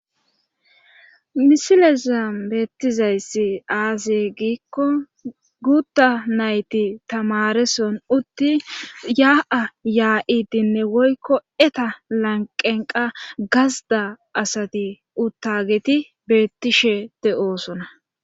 misileza beettizayssi aase giikko guutta nayti tamareson uttin yaa'a yaa'idinne woykko eta lanqenqa gazda asati uttageti beettishe de'oosona.